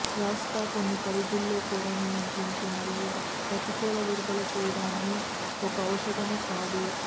శాశ్వత కొన్ని పరిధుల్లో కూడా నియంత్రించే మరియు ప్రతికూల విడుదల చేయడాన్ని ఒక ఔషధము కాదు